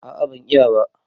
A'a ban iya ba.